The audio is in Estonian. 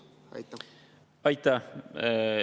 Aitäh!